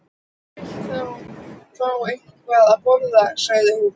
Þú vilt fá eitthvað að borða sagði hún.